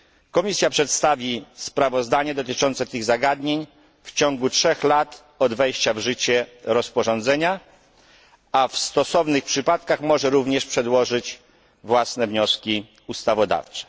Komisja przedstawi sprawozdanie dotyczące tych zagadnień w ciągu trzech lat od wejścia w życie rozporządzenia, a w stosownych przypadkach może również przedłożyć własne wnioski ustawodawcze.